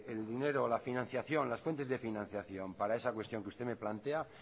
el dinero la financiación las fuentes de financiación para esa cuestión que me plantean